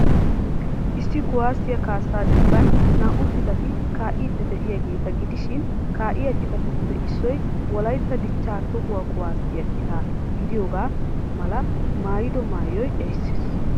Issi kuwaasiya kaassaa dembban naa'u cittati kaa'iidi de'iyaageeta gidishiin kaa'iya citatuppe issoy wolaitta dichchaa toho kuwaasiya citaa gidiyoogaa mala maayido mayoy erisees.